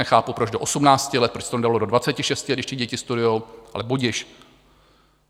Nechápu, proč do 18 let, proč se to nedalo do 26, když ty děti studují, ale budiž.